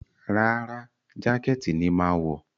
Rárá, jákẹ́ẹ̀tì ni màá wọ̀